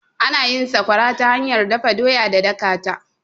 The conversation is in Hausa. Ana yin sakwara ta hanyar dafa doya da dakata.